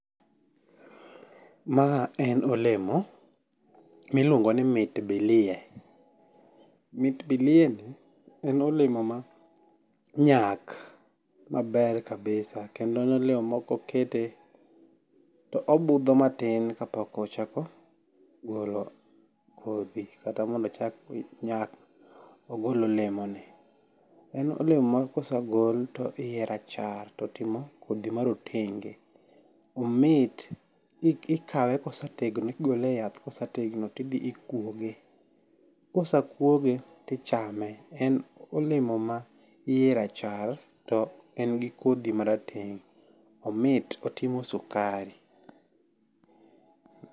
Ma en olemo miluongo ni mit bilie. Mit bilie ni en olemo ma nyak maber kabisa. Kendo en olemo ma kokete to obudho matin kapok ochako golo kodhi kata mondo ochak nyak ogol olemo ni. En olemo ma kosegol to iye rachar totimo kodhi ma rotenge. Omit. Ikawe kosetegno igole yath kosetegno ti dhi ikuoge. Kose kuoge tichame. En olemo ma yie rachar to en gi kodhi marateng'. Omit otimo sukari.